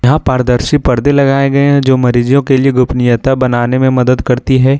यहां पारदर्शी पर्दे लगाए गए हैं जो मरीजों के लिए गोपनीयता बनाने में मदद करती है।